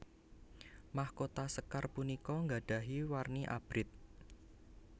Mahkota sékar punika gadahi warni Abrit